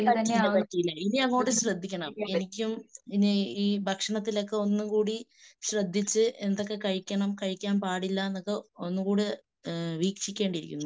പറ്റീല പറ്റീല. ഇനിയങ്ങോട്ട് ശ്രദ്ധിക്കണം. എനിക്കും ഇനി ഈ ഭക്ഷണത്തിൽ ഒന്നുകൂടി ശ്രദ്ധിച്ച് എന്തൊക്കെ കഴിക്കണം കഴിക്കാൻ പാടില്ലാന്നൊക്കെ ഒന്നുകൂടെ വീക്ഷിക്കേണ്ടിയിരിക്കുന്നു.